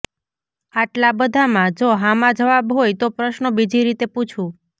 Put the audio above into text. આટલા બધામાં જો હા માં જવાબ હોય તો પ્રશ્નો બીજી રીતે પૂછું